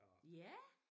Ja